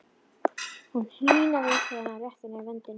Hún hýrnaði þegar hann rétti henni vöndinn.